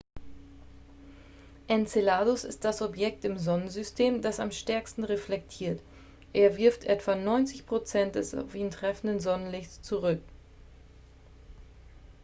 enceladus ist das objekt im sonnensystem das am stärksten reflektiert er wirft etwa 90 prozent des auf ihn treffenden sonnenlichts zurück